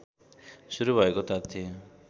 सुरु भएको तथ्य